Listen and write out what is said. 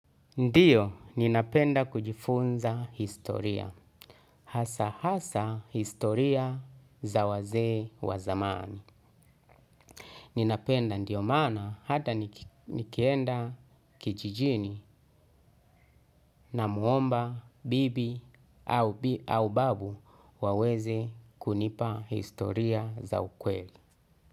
Ndiyo ninapenda kujifunza historia. Hasa hasa historia za wazee wa zamani. Ninapenda ndiyo maana hata nikienda kijijini na mwomba bibi au babu waweze kunipa historia za ukweli.